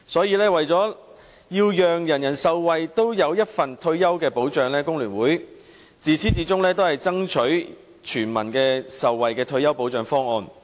因此，為了讓人人受惠，所有人也有退休保障，工聯會自始至終均爭取全民受惠的退休保障方案。